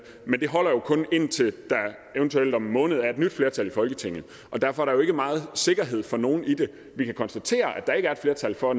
men det holder jo kun indtil der eventuelt om en måned er et nyt flertal i folketinget derfor er der jo ikke meget sikkerhed for nogen i det vi kan konstatere at der ikke er et flertal for at